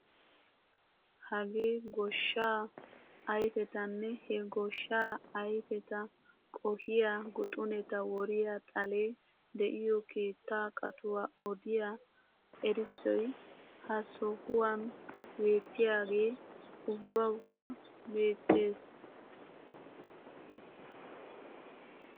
Hagee gooshshaa ayfetanne he gooshshaa ayfeta qohiyaa guxuneta woriyaa xalee de'iyoo keettaa qatuwaa odiyaa erissoy ha sohuwaan beettiyaage ubbawukka beettees!